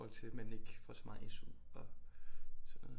I fohold til at man ikke får så meget SU og sådan noget